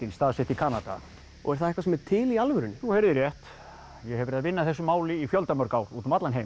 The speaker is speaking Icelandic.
staðsett í Kanada er það eitthvað sem er til í alvörunni þú heyrðir rétt ég hef verið að vinna að þessu máli í fjölda mörg ár út um allan heim